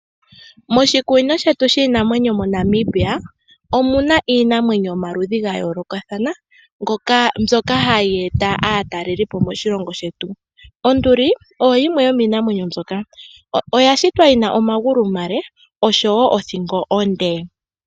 Moshikunino shetu shiinamwenyo moNamibia omuna iinamwenyo yomaludhi gayoolokathana mbyoka hayeeta aatalelipo moshilongo shetu, onduli oyo yimwe yomiinamenyo mbyoka oyashitwa yina omagulu omale oshowo othingo onde.